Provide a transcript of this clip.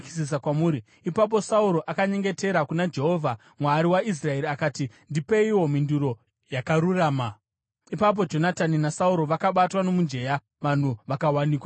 Ipapo Sauro akanyengetera kuna Jehovha, Mwari waIsraeri akati, “Ndipeiwo mhinduro yakarurama.” Ipapo Jonatani naSauro vakabatwa nomujenya, vanhu vakawanikwa vasina mhosva.